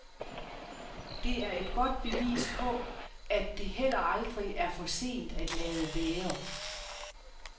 Det er et godt bevis på, at det heller aldrig er for sent at lade være.